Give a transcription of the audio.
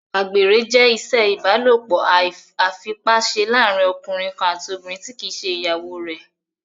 Àgbèrè jẹ́ ìṣe ìbálòpọ̀ àìfipáṣe láàrín ọkùnrin kan àti obìnrin tí kìí ṣe ìyàwó rẹ̀